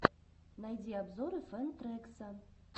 найди обзоры фэн трэкса